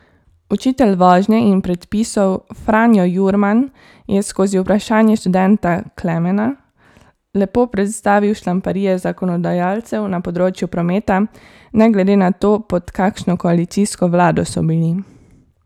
Učitelj vožnje in predpisov Franjo Jurman je skozi vprašanje študenta Klemena lepo predstavil šlamparije zakonodajalcev na področju prometa, ne glede na to, pod kakšno koalicijsko vlado so bili.